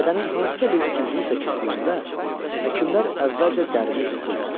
Bədənin hansısa bir üzvü kəsiləndə həkimler əvvəlcə dərisini cızırlar.